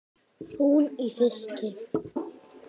Hún í fiski.